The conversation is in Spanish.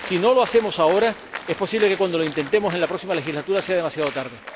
Si no lo hacemos ahora, es posible que cuando lo intentemos en la próxima legislatura sea demasiado tarde